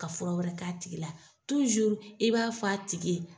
Ka fura wɛrɛ k'a tigi la. i b'a f'a tigi ye